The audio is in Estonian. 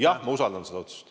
Jah, ma usaldan seda otsust.